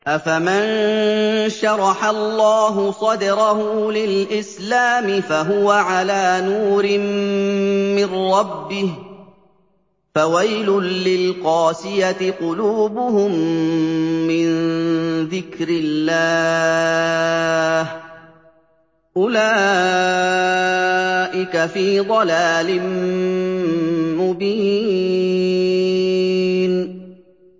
أَفَمَن شَرَحَ اللَّهُ صَدْرَهُ لِلْإِسْلَامِ فَهُوَ عَلَىٰ نُورٍ مِّن رَّبِّهِ ۚ فَوَيْلٌ لِّلْقَاسِيَةِ قُلُوبُهُم مِّن ذِكْرِ اللَّهِ ۚ أُولَٰئِكَ فِي ضَلَالٍ مُّبِينٍ